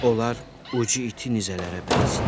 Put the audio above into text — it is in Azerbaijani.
Onlar ucu iti nizələrə bənzəyirdi.